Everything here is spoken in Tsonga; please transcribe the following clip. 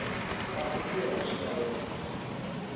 kahle ku ya hi swilaveko